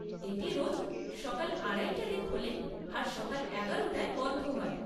এটি রোজ সকাল আড়াইটা তে খোলে আর সকাল এগারো টায় বন্ধ হয়।